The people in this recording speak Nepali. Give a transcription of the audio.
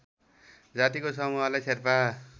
जातिको समूहलाई शेर्पा